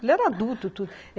Ele era adulto.